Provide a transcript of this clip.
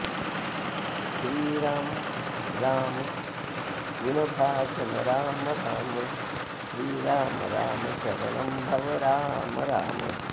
श्रीराम राम गुणभाजन राम राम श्रीराम राम शरणं भव राम राम